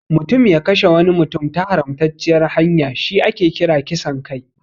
Mutum ya kashe wani mutum ta haramtacciyar hanya shi ake kira kisan kai.